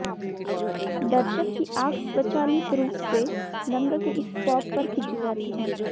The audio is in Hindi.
दर्शक की आंख स्वचालित रूप से रंग के इस पॉप पर खींची जाती है